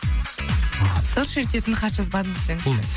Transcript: сыр шертетін хат жазбадым десеңізші